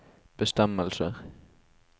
bestemmelser